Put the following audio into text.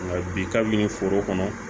Nka bi kabini foro kɔnɔ